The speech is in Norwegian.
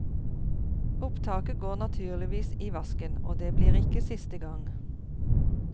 Opptaket går naturligvis i vasken, og det blir ikke siste gang.